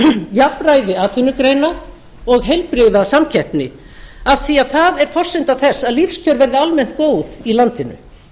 jafnræði atvinnugreina og heilbrigða samkeppni af því að það er forsenda þess að lífskjör verði almennt góð í landinu